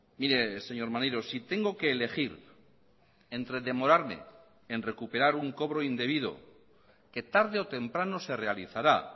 mire señor maneiro si tengo que elegir entre demorarme en recuperar un cobro indebido que tarde o temprano se realizará